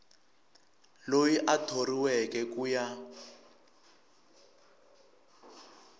loyi a thoriweke ku ya